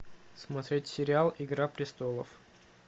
смотреть сериал игра престолов